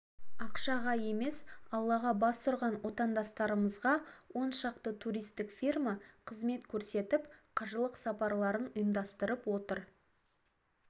ақшаға емес аллаға бас ұрған отандастарымызға оншақты туристік фирма қызмет көрсетіп қажылық сапарларын ұйымдастырып отыр